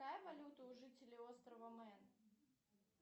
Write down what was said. какая валюта у жителей острова мэн